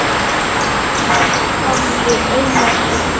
Axel hafði Einar og